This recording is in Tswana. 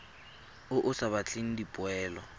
o o sa batleng dipoelo